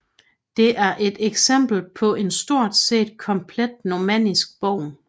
Det er et eksempel på en stort set komplet normannisk borg